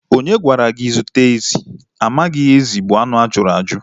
Onye gwara gị zụta ezi? Ị maghị na ezi bụ anụ ajuru aju